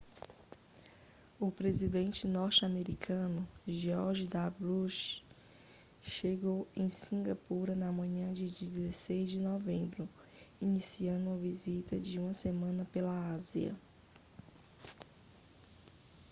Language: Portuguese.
o presidente norte-americano george w bush chegou em singapura na manhã de 16 de novembro iniciando uma visita de uma semana pela ásia